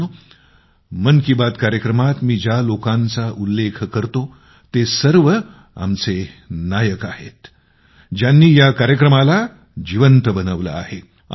मित्रांनो मन की बात कार्यक्रमात मी ज्या लोकांचा उल्लेख करतो ते सर्व आमचे हिरो आहेते ज्यांनी या कार्यक्रमाला जिवंत बनवलं आहे